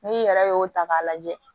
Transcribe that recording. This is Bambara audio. N'i yɛrɛ y'o ta k'a lajɛ